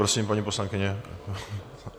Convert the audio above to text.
Prosím, paní poslankyně.